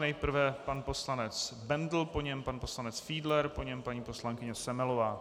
Nejprve pan poslanec Bendl, po něm pan poslanec Fiedler, po něm paní poslankyně Semelová.